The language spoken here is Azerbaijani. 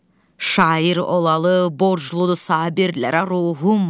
Şair olalı, borcludur Sabirlərə ruhum.